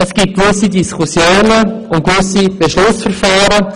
Es gibt gewisse Diskussions- und gewisse Beschlussverfahren.